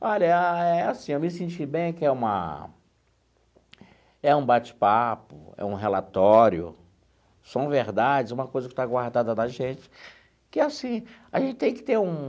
Olha, é assim, eu me senti bem que é uma... É um bate-papo, é um relatório, são verdades, uma coisa que está guardada da gente, que, assim, a gente tem que ter um...